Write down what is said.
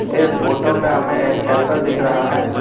इस फोटो में हमें एक टेंपल दिख रहा है।